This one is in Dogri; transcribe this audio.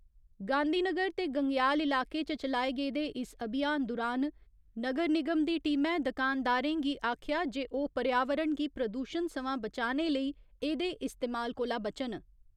गांधीनगर ते गंगेयाल इलाके च चलाए गेदे इस अभियान दुरान नगर निगम दी टीमै दकानदारें गी आखेआ जे ओह् पर्यावरण गी प्रदूशण सवां बचाने लेई एह्दे इस्तमाल कोला बचन।